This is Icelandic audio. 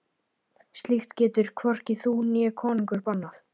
Slíkt getur hvorki þú né konungur bannað.